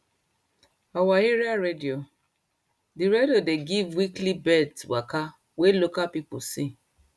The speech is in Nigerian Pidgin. our area radio dey radio dey give weekly birds waka wey local people see